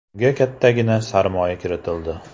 Unga kattagina sarmoya kiritildi.